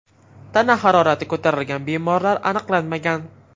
Tana harorati ko‘tarilgan bemorlar aniqlanmagan.